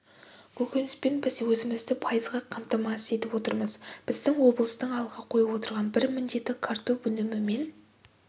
көкөніспен біз өзімізді пайызға қамтамасыз етіп отырмыз біздің облыстың алға қойып отырған бір міндеті картоп өнімімен